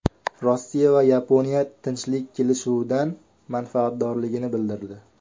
Rossiya va Yaponiya tinchlik kelishuvidan manfaatdorligini bildirdi.